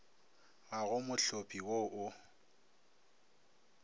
ga go mohlopi wo o